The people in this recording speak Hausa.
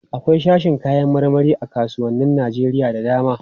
Akwai sashin kayan marmari a kasuwannin Najeriya da dama.